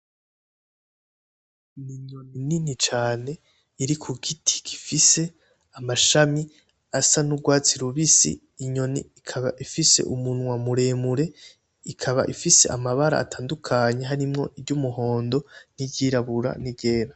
Ni inyoni nini cane iri ku giti gifise amashami asa n'urwatsi rubisi, inyoni ikaba ifise umunwa muremure, ikaba ifise amabara atandukanye harimwo iry'umuhondo n'iry'irabura n'iryera.